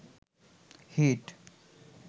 hit